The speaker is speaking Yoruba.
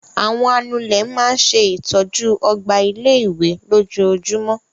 Àwọn anulẹ̀ máa ń ṣe ìtọ́jú ọgbà ilé-ìwé lójoojúmọ́.